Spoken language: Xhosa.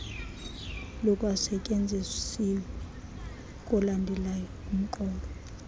lukwasetyenzisiwe kolandelayo umqolo